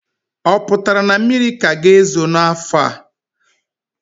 O pụtara na mmiri ka ga-ezo ọzọ n'afọ a?